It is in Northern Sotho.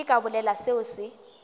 ke ka bolela seo se